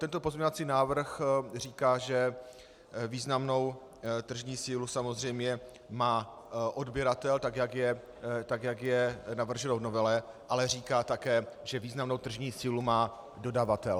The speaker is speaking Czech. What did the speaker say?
Tento pozměňovací návrh říká, že významnou tržní sílu samozřejmě má odběratel, tak jak je navrženo v novele, ale říká také, že významnou tržní sílu má dodavatel.